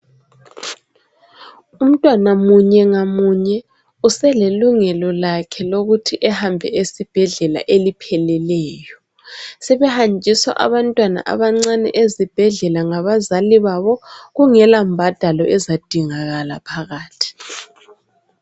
Umntwana munye ngamunye uselelungelo lakhe lokuthi ehambe esibhedlela eliphelileyo sebehanjiswa abantwana abancane ezibhedlela ngabazali babo kungela mbhadalo ezadingakala phakathi.